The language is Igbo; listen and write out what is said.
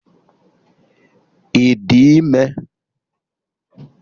Ị dị ime?